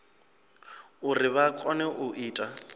uri vha kone u ita